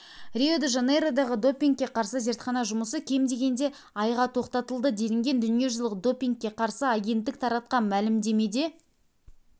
рио-де-жанейродағы допингке қарсы зертхана жұмысы кем дегенде айға тоқтатылды делінген дүниежүзілік допингке қарсы агенттік таратқан мәлімдемеде